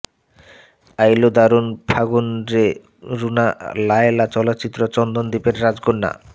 আইলো দারুণ ফাগুনরে রুনা লায়লা চলচ্চিত্র চন্দন দ্বীপের রাজকন্যা